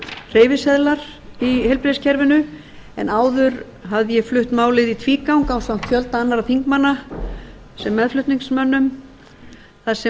hreyfiseðlar í heilbrigðiskerfinu en áður hafði ég flutt málið í tvígang ásamt fjölda annarra þingmanna sem meðflutningsmönnum þar